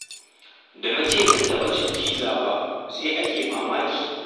Da na ce ban taɓa cin pizza ba, sai ake mamaki